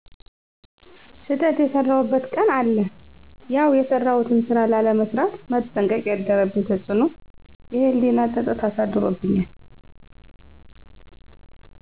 ስተት የሰራሁበት ቀን አለ ያውየሰራሁትን ስራ ላለመስራት መጠንቀቅ ያደረብኝ ተፅእኖ የህሊና ፀፀት አሳድሮብኛል።